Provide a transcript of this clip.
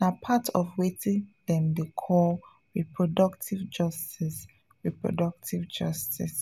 na part of wetin dem dey call reproductive justice reproductive justice